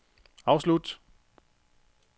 afslut